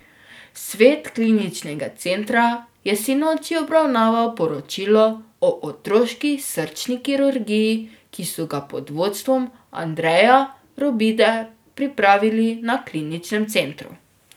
Svet kliničnega centra je sinoči obravnaval poročilo o otroški srčni kirurgiji, ki so ga pod vodstvom Andreja Robide pripravili na kliničnem centru.